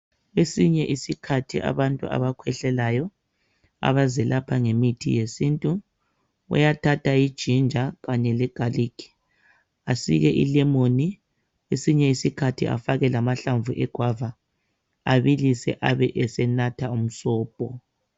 Esinye isikhathi abantu abakhwehlelayo abazelapha ngemithi yesintu uyathatha iginger kanye le garlic, asike ilemon esinye isikhathi afake lamahlamvu egwava abilise abesenatha umsobho